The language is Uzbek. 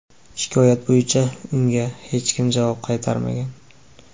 Shikoyat bo‘yicha unga hech kim javob qaytarmagan.